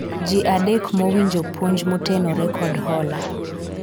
jii adek ma owinjo puonj motenore kod hola ?